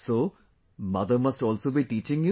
So, mother must also be teaching you